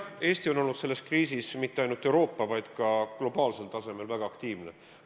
Eesti on olnud selles kriisis mitte ainult Euroopa, vaid ka globaalsel tasemel väga aktiivne.